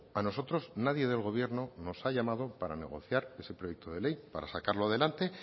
a nosotros nadie del gobierno nos ha llamado para negociar ese proyecto de ley para sacarlo adelante